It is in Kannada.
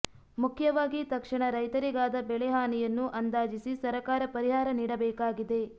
ಮುಖ್ಯವಾಗಿ ತಕ್ಷಣ ರೈತರಿಗಾದ ಬೆಳೆ ಹಾನಿಯನ್ನು ಅಂದಾಜಿಸಿ ಸರಕಾರ ಪರಿಹಾರ ನೀಡಬೇಕಾಗಿದೆ